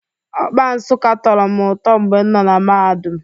Okpa Nsukka tọrọ m ụtọ mgbe m nọ na mahadum